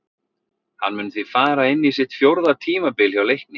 Hann mun því fara inn í sitt fjórða tímabil hjá Leikni.